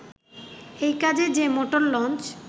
এই কাজে যে মোটর লঞ্চ